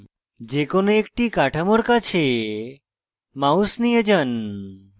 যে কোনো একটি কাঠামোর কাছে mouse নিয়ে যান